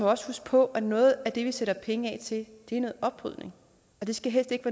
også huske på at noget af det vi sætter penge af til er noget oprydning og det skal helst ikke